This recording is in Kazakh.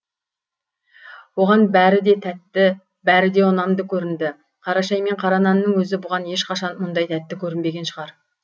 оған бәрі де тәтті бәрі де ұнамды көрінді қара шай мен қара нанның өзі бұған ешқашан мұндай тәтті көрінбеген шығар